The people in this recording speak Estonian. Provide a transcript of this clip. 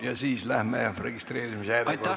Ja siis lähme registreerimise järjekorra peale.